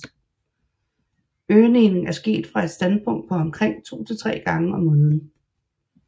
Øgningen er sket fra et startpunkt på omkring to til tre gange om måneden